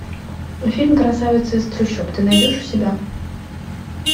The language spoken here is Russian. фильм красавица из трущоб ты найдешь у себя